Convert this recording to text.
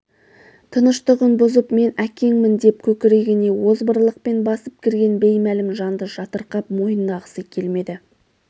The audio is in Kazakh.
тыныштығын бұзып мен әкеңмін деп көкірегіне озбырлықпен басып кірген беймәлім жанды жатырқап мойындағысы келмеді